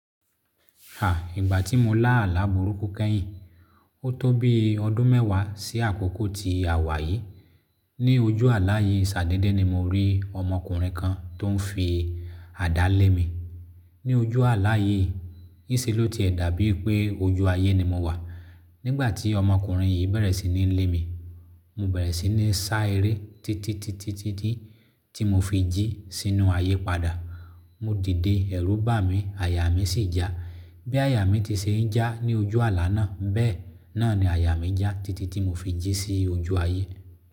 A, ìgbà tí mo lá àlá burúkú kẹ́yìn, ó tó bí ọdún mẹ́wàá sí àkókò ti àwà yìí. Ni ojú ààlà yìí, ṣàdedé ni mo rí ọmọkùnrin kan tó ń fi àdá lé mi. Ni ojú ààlà yìí, ní ṣe ló tiẹ̀ dà bíi pé ojú ayé ni mo wà. Nígbà tí ọmọkùnrin yìí bẹ̀rẹ̀ sí ní lé mi, mo bẹ̀rẹ̀ sí ní sá eré titi titi titi tí mo fi jí sínú ayé padà. Mo dìde ẹ̀rù bà mí, àyà mí sì já. Bí àyà mi ti ṣe ń já ní ojú ààlà náà, bẹ́ẹ̀ náà ni àyà mi já titi tí mo fi jí sí ojú ayé.